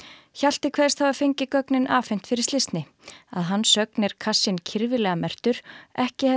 Hjalti kveðst hafa fengið gögnin afhent fyrir slysni að hans sögn er kassinn kirfilega merktur ekki hefði